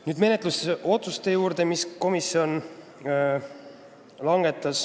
Nüüd aga komisjonis langetatud menetlusotsuste juurde.